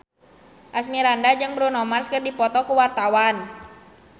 Asmirandah jeung Bruno Mars keur dipoto ku wartawan